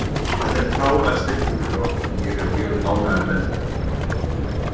Þetta er frábær styrkur fyrir okkur, ég er mjög ánægður með þetta.